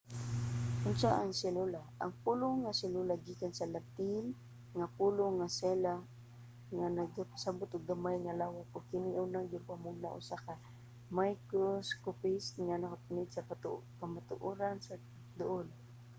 unsa ang selula? ang pulong nga selula gikan sa latin nga pulong nga cella nga nagpasabut og gamay nga lawak ug kini unang gimugna sa usa ka microscopist nga nagapaniid sa katukoran sa duul